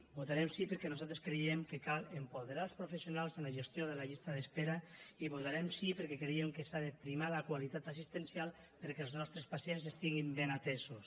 votarem sí perquè nosaltres creiem que cal apoderar els professionals en la gestió de la llista d’espera i votarem sí perquè creiem que s’ha de primar la qualitat assistencial perquè els nostres pacients estiguin ben atesos